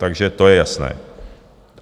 Takže to je jasné.